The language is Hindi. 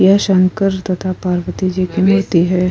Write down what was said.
ये शंकर तथा पार्वती जी की बेटी है।